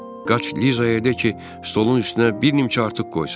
Qaş Lizaya de ki, stolun üstünə bir nimçə artıq qoysun.